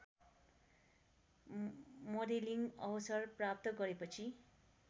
modelling अवसर प्राप्त गरेपछि